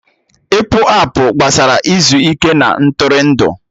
Ịpụ apụ gbasara izu ike na Ntụrụndụ